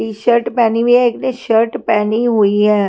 T shirt पहनी हुई है एक ने शर्ट पहनी हुई है।